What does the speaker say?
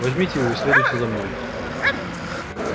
возьмите его и следуйте за мной